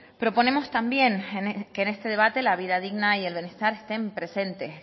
proponemos también que en este debate la vida digna y el bienestar estén presente